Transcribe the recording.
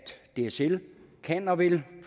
dsl kan og vil